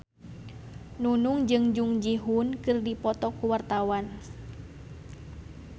Nunung jeung Jung Ji Hoon keur dipoto ku wartawan